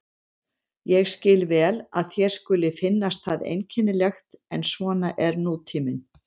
Ég skil vel að þér skuli finnast það einkennilegt en svona er nútíminn.